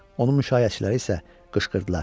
Onu müşaiyyətçiləri isə qışqırdılar.